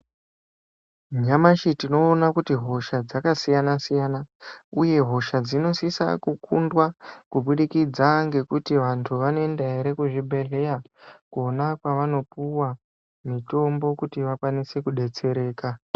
Nyamashi tinoona kuti hosha dzakasiyana siyana uye hosha dzinosisa kukundwa kubudikidza ngekuti vantu vanoenda ere kuzvibhedhlera Kona kwavanopuwa mitombo kuti vakwanise kudetsereka.